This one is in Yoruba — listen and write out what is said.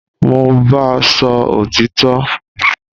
Mo n báa sọ òtítọ